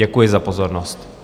Děkuji za pozornost.